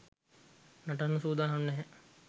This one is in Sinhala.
නටන්න සූදානම් නැහැ.